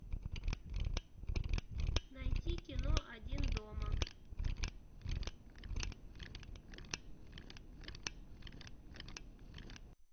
найти кино один дома